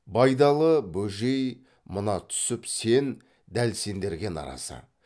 байдалы бөжей мына түсіп сен дәл сендерге наразы